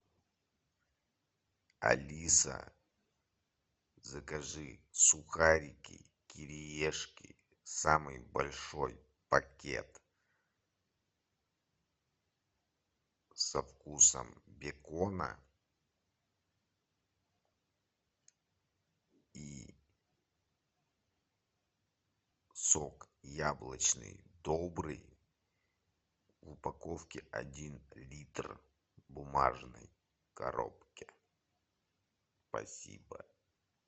алиса закажи сухарики кириешки самый большой пакет со вкусом бекона и сок яблочный добрый в упаковке один литр в бумажной коробке спасибо